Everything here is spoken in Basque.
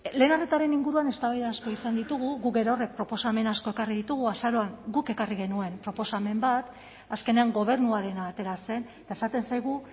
lehen arretaren inguruan eztabaida asko izan ditugu guk gerorrek proposamen asko ekarri ditugu azaroan guk ekarri genuen proposamen bat azkenean gobernuarena atera zen eta esaten zaigu